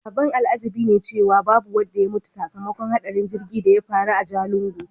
Abin al'ajabi ne cewa babu wanda ya mutu sakamakon hadarin jirgin da ya faru a Ajegunle.